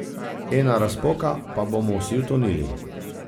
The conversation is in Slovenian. Ena razpoka, pa bomo vsi utonili.